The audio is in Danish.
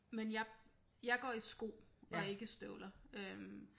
Men jeg jeg går i sko og ikke støvler øh